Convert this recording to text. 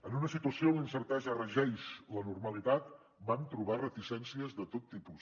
en una situació on la incertesa regeix la normalitat vam trobar hi reticències de tot tipus